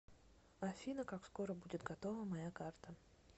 афина как скоро будет готова моя карта